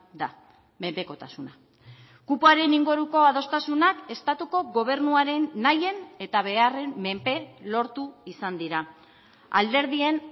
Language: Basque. da menpekotasuna kupoaren inguruko adostasunak estatuko gobernuaren nahien eta beharren menpe lortu izan dira alderdien